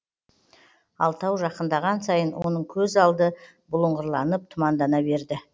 алтау жақындаған сайын оның көз алды бұлыңғырланып тұмандана берді